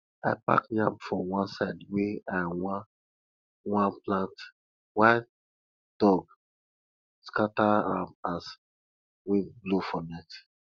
i pack yam for one side wey i wan wan plant wild dogs scatter am as wind blow for night